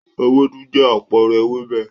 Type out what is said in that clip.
Ewédú jẹ́ àpẹẹrẹ ewébẹ̀.